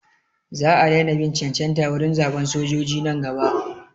Sa a daina bin cancanta wurin zaɓan sojoji nan gaba.